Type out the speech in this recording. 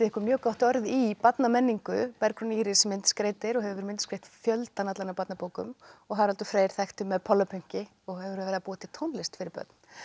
mjög gott orð í barnamenningu Bergrún Íris myndskreytir og hefur myndskreytt fjöldann allan af barnabókum og Haraldur Freyr þekktur með og hefur verið að búa til tónlist fyrir börn